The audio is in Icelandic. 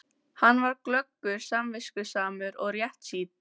Hann var glöggur, samviskusamur og réttsýnn.